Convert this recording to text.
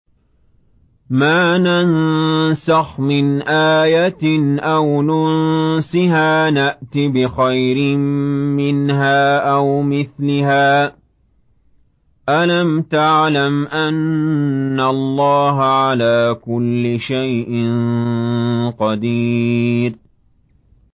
۞ مَا نَنسَخْ مِنْ آيَةٍ أَوْ نُنسِهَا نَأْتِ بِخَيْرٍ مِّنْهَا أَوْ مِثْلِهَا ۗ أَلَمْ تَعْلَمْ أَنَّ اللَّهَ عَلَىٰ كُلِّ شَيْءٍ قَدِيرٌ